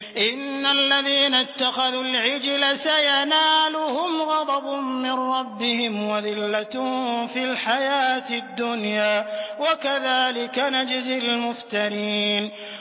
إِنَّ الَّذِينَ اتَّخَذُوا الْعِجْلَ سَيَنَالُهُمْ غَضَبٌ مِّن رَّبِّهِمْ وَذِلَّةٌ فِي الْحَيَاةِ الدُّنْيَا ۚ وَكَذَٰلِكَ نَجْزِي الْمُفْتَرِينَ